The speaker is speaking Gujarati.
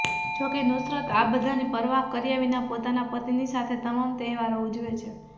જો કે નુસરત આ બધાની પરવાહ કર્યા વિના પોતાના પતિની સાથે તમામ તહેવારો ઉજવે છે